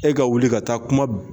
E ka wuli ka taa kuma